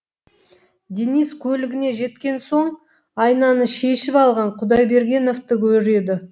денис көлігіне жеткен соң айнаны шешіп алған құдайбергеновті көреді